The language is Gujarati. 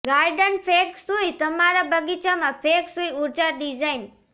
ગાર્ડન ફેંગ શુઇ તમારા બગીચામાં ફેંગ શુઇ ઊર્જા ડિઝાઇન